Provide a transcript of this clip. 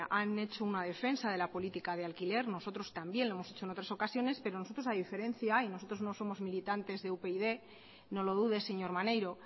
han hecho una defensa de la política de alquiler nosotros también lo hemos hecho en otras ocasiones pero nosotros a diferencia y nosotros no somos militantes de upyd no lo dude señor maneiro